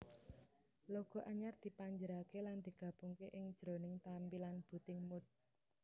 Logo anyar dipanjerake lan digabungke ing njroning tampilan booting mode